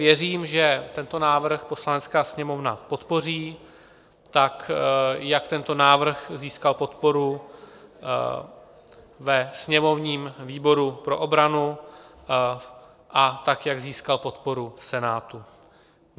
Věřím, že tento návrh Poslanecká sněmovna podpoří tak, jako tento návrh získal podporu ve sněmovním výboru pro obranu a tak, jak získal podporu v Senátu.